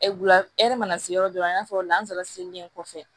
mana se yɔrɔ dɔ la i n'a fɔ lanzara selilen kɔfɛ